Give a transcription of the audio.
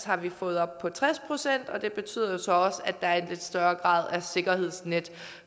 har vi fået op på tres og det betyder jo så også at der er en lidt større grad af sikkerhedsnet